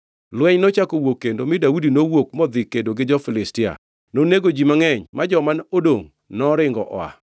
Lweny nochako owuok kendo, mi Daudi nowuok modhi kedo gi jo-Filistia. Nonego ji mangʼeny ma joma odongʼ noringo oa.